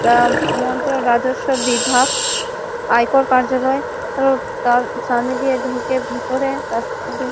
আ মন্ত্র রাজস্ব বিভাগ। আয়কর কার্য্যালয়। অ তার সামনে দিয়ে ঢুকে ভিতরে রাস্তা দিয়ে --